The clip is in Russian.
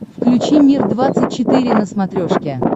включи мир двадцать четыре на смотрешке